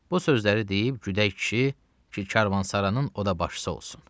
Bu sözləri deyib güdək kişi, ki karvansaranın o da başçısı olsun.